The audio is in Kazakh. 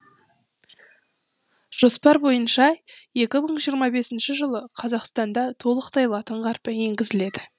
жоспар бойынша екі мың жиырма бесінші жылы қазақстанда толықтай латын қарпі енгізіледі